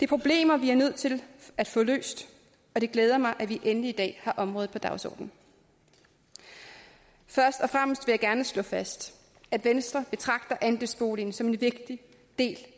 problemer vi er nødt til at få løst og det glæder mig at vi endelig i dag har området på dagsordenen først og fremmest vil jeg gerne slå fast at venstre betragter andelsboligen som en vigtig del